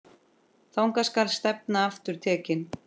Þangað skal stefnan aftur tekin.